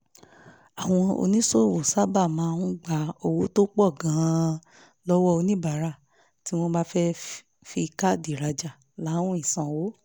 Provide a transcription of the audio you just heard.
àwọn oníṣòwò sábà máa ń gba owó tó pọ̀ gan-an lọ́wọ́ oníbàárà tí wọ́n bá fẹ́ fi káàdì rajà láwìn sanwó